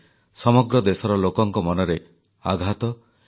ଦେଶବାସୀ ଶାନ୍ତିରେ ଶୋଇପାରନ୍ତି ଏଥିପାଇଁ ଆମର ଏହି ବୀର ସୁପୁତ୍ରମାନେ ଦିନରାତି ଏକ କରିଦେଇଥିଲେ